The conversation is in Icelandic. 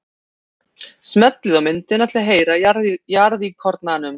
Smellið á myndina til að heyra í jarðíkornanum.